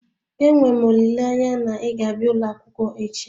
Enwe m olileanya na ị ga-abịa ụlọ akwụkwọ echi